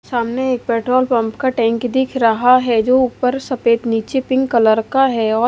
सामने एक petrol pump का टैंक दिख रहा है जो ऊपर सफेद नीचे पिंक कलर का है और--